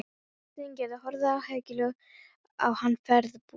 Steingerður horfði áhyggjufull á hann ferðbúast.